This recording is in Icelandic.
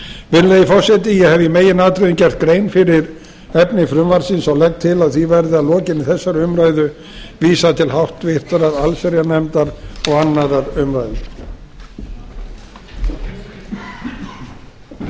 virðulegi forseti ég hef í meginatriðum gert grein fyrir efni frumvarpsins og legg til að því verði að lokinni þessari umræðu vísað til háttvirtrar allsherjarnefndar og annarrar umræðu